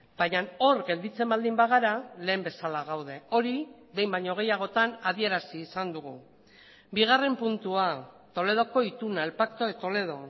baina hor gelditzen baldin bagara lehen bezala gaude hori behin baino gehiagotan adierazi izan dugu bigarren puntua toledoko ituna el pacto de toledo